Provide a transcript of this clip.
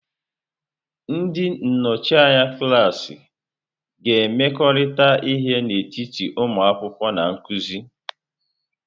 Ndị nnọchi anya klaasị ga-emekọrịta ihe n'etiti ụmụ akwụkwọ na nkuzi.